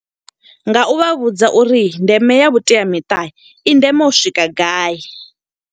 Nga u vha vhudza uri ndeme ya vhuteamiṱa, i nḓeme u swika gai.